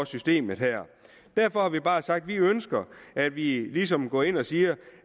systemet her derfor har vi bare sagt at vi ønsker at vi ligesom går ind og siger